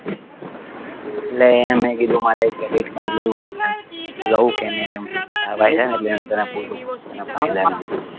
એટલે એમ મેં કીધું મારે credit card લેવું તું એમ લવ કે નહિ એમ તારો ભાઈ છે ને એટલે એમ જરાક પૂછું છું એના ફાયદા ને બધું